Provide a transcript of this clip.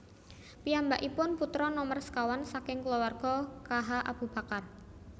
Piyambakipun putra nomer sekawan saking kulawarga K H Abu Bakar